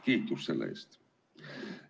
Kiitus selle eest!